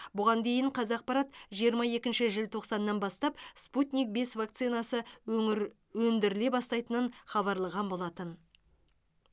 бұған дейін қазақпарат жиырма екінші желтоқсаннан бастап спутник бес вакцинасы өңір өңдіріле бастайтынын хабарлаған болатын